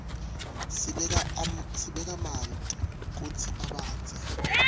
sibeka manti kutsi abandze